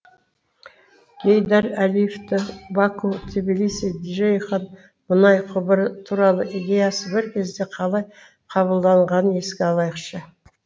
гейдар әлиевтің баку тбилиси джейхан мұнай құбыры туралы идеясы бір кезде қалай қабылданғанын еске алайықшы